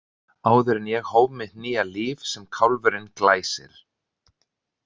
Áður en ég hóf mitt nýja líf sem kálfurinn Glæsir.